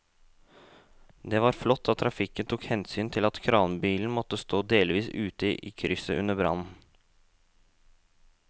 Det var flott at trafikken tok hensyn til at kranbilen måtte stå delvis ute i krysset under brannen.